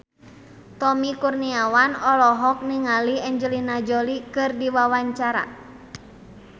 Tommy Kurniawan olohok ningali Angelina Jolie keur diwawancara